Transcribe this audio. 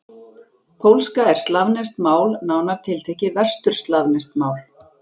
Pólska er slavneskt mál, nánar tiltekið vesturslavneskt mál.